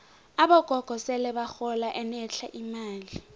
abogogo sele bahola enetlha imali